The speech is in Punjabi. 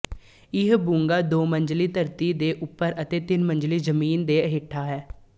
ਇਹ ਬੁੰਗਾ ਦੋਮੰਜ਼ਿਲਾ ਧਰਤੀ ਦੇ ਉੱਪਰ ਅਤੇ ਤਿੰਨਮੰਜ਼ਲਾ ਜ਼ਮੀਨ ਦੇ ਹੇਠਾਂ ਹੈ